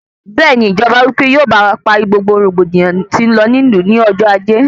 Bẹẹni, Ìjọba wípé òun yóò parí gbogbo rògbòdìyàn tí n lọ ní ìlú ní ọjọ ajé